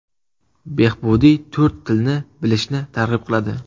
Behbudiy to‘rt tilni bilishni targ‘ib qiladi.